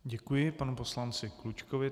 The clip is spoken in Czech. Děkuji panu poslanci Klučkovi.